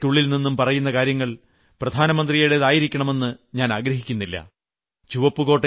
ചുവപ്പുകോട്ടയിൽ നിന്നും പറയുന്ന കാര്യങ്ങൾ പ്രധാനമന്ത്രിയുടെതായിരിക്കണമെന്ന് ഞാനാഗ്രഹിക്കുന്നില്ല